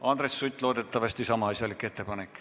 Andres Sutt, loodetavasti on teil sama asjalik ettepanek.